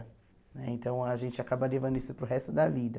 Né então, a gente acaba levando isso para o resto da vida.